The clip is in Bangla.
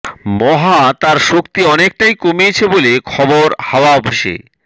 মহা তার শক্তি অনেকটাই কমিয়েছে বলে খবর হাওয়া অফিসে